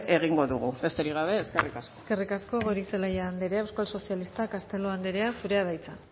egingo dugu besterik gabe eskerrik asko eskerrik asko goirizelaia andrea euskal sozialista castelo andrea zurea da hitza